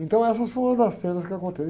Então essas foram umas das cenas que